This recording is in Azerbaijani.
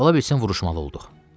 Ola bilsin vuruşmalı olduq.